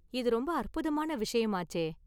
இது ரொம்ப அற்புதமான விஷயமாச்சே!